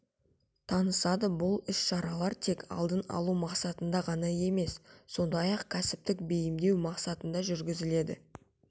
танысады бұл іс шаралар тек алдын алу мақсатында ғана емес сондай-ақ кәсіптік бейімдеу мақсатында жүргізіледі